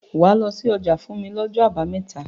Wàá lọ sí ọjà fún mi lọ́jọ́ àbámẹ́ta.